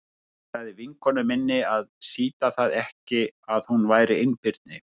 Ég sagði vinkonu minni að sýta það ekki að hún væri einbirni.